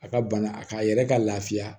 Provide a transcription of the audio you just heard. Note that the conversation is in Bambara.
A ka bana a k'a yɛrɛ ka lafiya